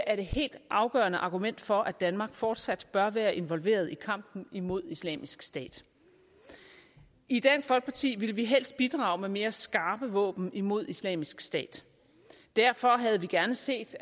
er det helt afgørende argument for at danmark fortsat bør være involveret i kampen imod islamisk stat i dansk folkeparti ville vi helst bidrage med mere skarpe våben imod islamisk stat og derfor havde vi gerne set